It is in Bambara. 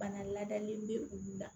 Bana ladalen bɛ olu la